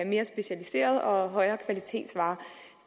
mere specialiserede og højere kvalitet